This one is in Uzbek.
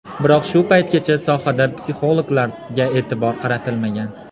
Biroq shu paytgacha sohada psixologlarga e’tibor qaratilmagan.